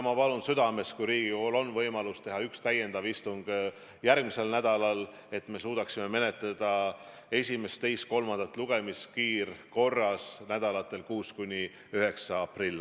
Ma palun südamest Riigikogul teha üks täiendav istung järgmisel nädalal, et me saaksime eelnõu esimese, teise ja kolmanda lugemise teha kiirkorras perioodil 6.–9. aprill.